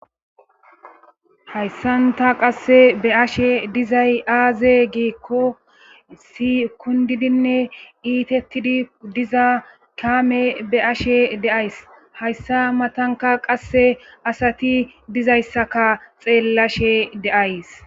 hayssanta qasse be ashe dizay aaze giikko sikundidinne iitettidi diza kaame be ashe deays hayssa matanka qasse asati dizayssaka xeellashe deays